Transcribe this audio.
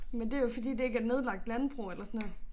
Men det jo fordi det ikke er nedlagt landbrug eller sådan noget